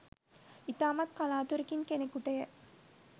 ඉතාමත් කලාතුරකින් කෙනෙකුට ය.